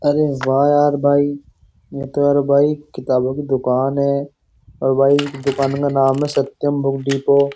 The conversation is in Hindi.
अरे वाह यार भाई ये तो यार भाई किताबों की दुकान है और भाई दुकान का नाम है। Satyam book depot --